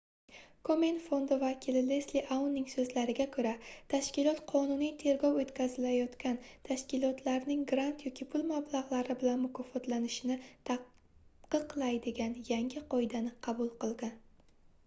komen fondi vakili lesli aunning soʻzlariga koʻra tashkilot qonuniy tergov oʻtkazilayotgan tashkilotlarning grant yoki pul mablagʻlari bilan mukofotlanishini taqiqlaydigan yangi qoidani qabul qilgan